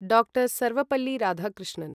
डा. सर्वपल्ली राधाकृष्णन्